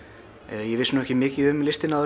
ég vissi ekki mikið um listina